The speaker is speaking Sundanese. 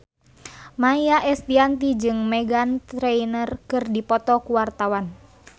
Maia Estianty jeung Meghan Trainor keur dipoto ku wartawan